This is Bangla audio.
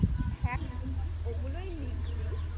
হ্যাঁ ওগুলোই লিখবি।